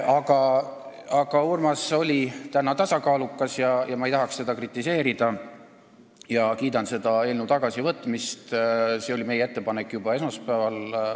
Aga Urmas oli täna tasakaalukas, ma ei tahaks teda kritiseerida ja kiidan seda eelnõu tagasivõtmist – see oli meie ettepanek juba esmaspäeval.